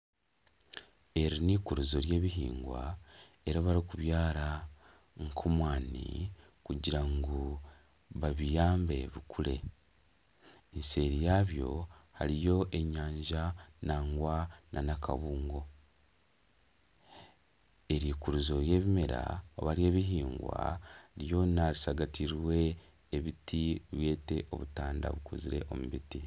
Eri n'ikurizo ry'ebihingwa eribarukubyara nkomwani kugira ngu babiyambe bikure nseeri yabyo hariyo enyanja nangwa n'akabungo eri ikurizo ry'ebimera oba ry'ebihingwa ryona rishagatirwe ebiti byete obutanda bukozire omubiti.